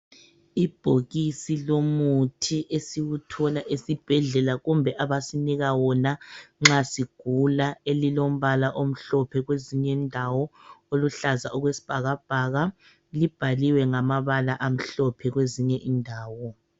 Ibhokisi lomuthi esiwuthola esibhedlela kumbe abasinika wona nxa sigula elilombala omhlophe, kweziny' indawo oluhlaza okwesibhakabhaka. Libhaliwe ngamabala amhlophe kwezinye indawo.